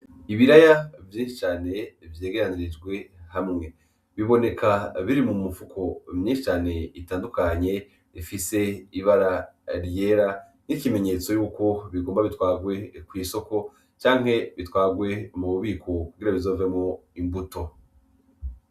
Ibiraya vy'insicane vyegaranirijwe hamwe biboneka biri mu mupfuko myeshi cane itandukanye rifise ibara ryera n'ikimenyetso yuko bigomba bitwarwe kw'isoko canke bitwarwe mu bubiko kugira bizovemo imbuto.